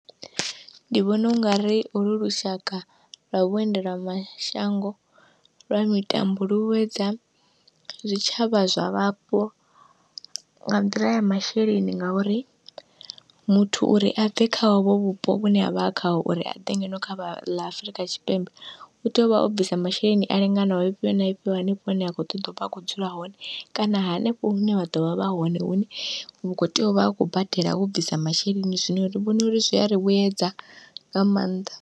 Ndi vhona ungari holu lushaka lwa vhuendela mashango lwani tambuluwedza zwi tshavha zwa vhapo nga nḓila ya masheleni, ngauri muthu uri abve kha hovho vhupo vhune avha khaho uri aḓe ngeno kha vha ḽa kha ḽa Afurika Tshipembe, utea uvha o bvisa masheleni a linganaho mafhio na mafho hanefho hune a ḓovha a khou dzula hone kana hanefho hune vha ḓovha vha hone hune vha khou tea uvha vha khou bvisa masheleni, zwino ri vhona unga zwi ari vhuedza nga maanḓa.